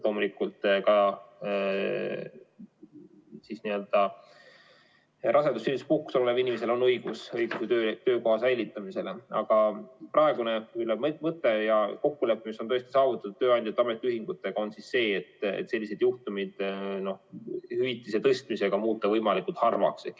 Loomulikult ka rasedus- ja sünnituspuhkusel oleval inimesel on õigus töökoha säilitamisele, aga praegune mõte ja kokkulepe, mis on saavutatud tööandjate ja ametiühingutega, on see, et muuta sellised juhtumid hüvitise tõstmisega võimalikult harvaks.